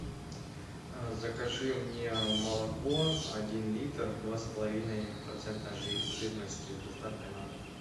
закажи мне молоко один литр два с половиной процента жирности с доставкой на дом